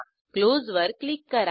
close वर click करा